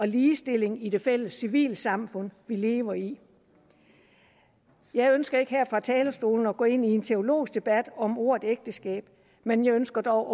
ligestilling i det fælles civilsamfund vi lever i jeg ønsker ikke her fra talerstolen at gå ind i en teologisk debat om ordet ægteskab men jeg ønsker dog